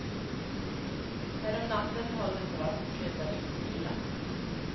Härom natten höll det på att sluta riktigt illa.